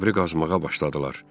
Qəbri qazmağa başladılar.